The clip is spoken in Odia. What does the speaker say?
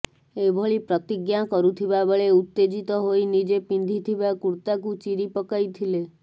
ଏଭଳି ପ୍ରତିଜ୍ଞା କରୁଥିବା ବେଳେ ଉତ୍ତେଜିତ ହୋଇ ନିଜେ ପିନ୍ଧିଥିବା କୁର୍ତ୍ତାକୁ ଚିରି ପକାଇଥିଲେ